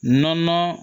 Nɔnɔn